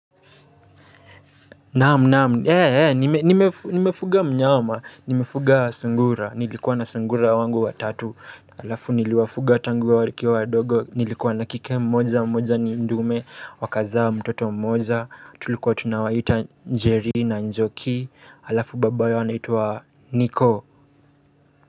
Naam naam, ee ee, nimefuga mnyama, nimefuga sungura, nilikuwa na sungura wangu watatu. Halafu niliwafuga tangu wakiwa wadogo, nilikuwa na kike mmoja, mmoja ni dume, wakazaa mtoto mmoja, tulikuwa tunawaita Njeri na Njoki. Halafu baba yao anaitwa niko.